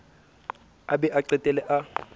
a be a qetelle a